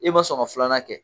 I ma sɔn ka filanan kɛ